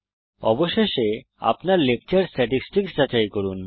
অবশেষে আপনার lecture statistics যাচাই করুন